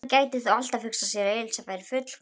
Hann gæti þó alltaf hugsað sér að Elísa væri fullkomin.